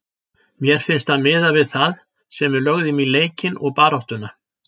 Mér finnst það miðað við það sem við lögðum í leikinn og baráttuna.